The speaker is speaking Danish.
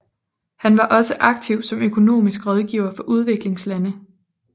Han var også aktiv som økonomisk rådgiver for udviklingslande